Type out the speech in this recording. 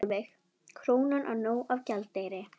Sólveig: Krónan á nóg af gjaldeyri?